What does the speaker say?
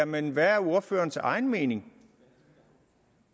men hvad er ordførerens egen mening